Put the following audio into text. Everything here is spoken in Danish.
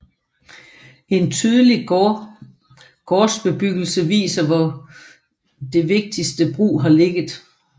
En tydelig gårdsbebyggelse viser hvor det vigtigste brug har ligget